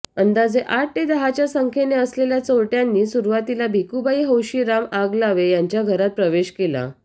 अंदाजे आठ ते दहाच्या संख्येने असलेल्या चोरट्यांनी सुरुवातीला भिकूबाई हौशीराम आगलावे यांच्या घरात प्रवेश केला